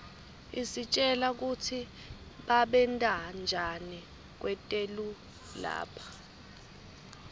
isitjela kutsi babentanjani kwetelu lapha